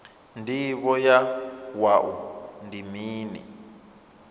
ndivho ya wua ndi mini